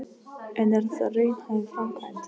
En er þetta raunhæf framkvæmd?